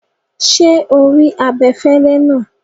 Ṣé o rí abẹ̀fẹ̀lẹ̀ náà?